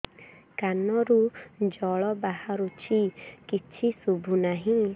କାନରୁ ଜଳ ବାହାରୁଛି କିଛି ଶୁଭୁ ନାହିଁ